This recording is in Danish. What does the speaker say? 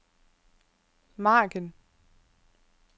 margen